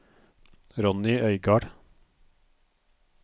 Ronnie Øygard